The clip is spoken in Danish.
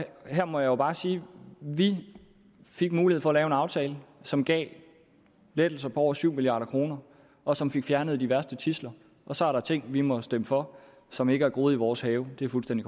her må jeg jo bare sige at vi fik mulighed for at lave en aftale som gav lettelser på over syv milliard kr og som fik fjernet de værste tidsler og så er der ting vi måtte stemme for som ikke er groet i vores have det er fuldstændig